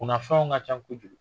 Kunafɛnw ka ca kojugu.